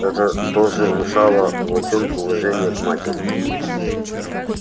это тоже внушало волчонку уважение к матери